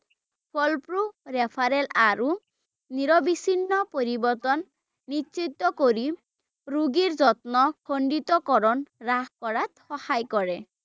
ফলপ্ৰসু referral আৰু নিৰবিচ্ছিন্ন পৰিৱৰ্তন নিশ্চত কৰি ৰোগীৰ যত্ন খণ্ডিতকৰণ হ্ৰাস কৰাত সহায় কৰে ৷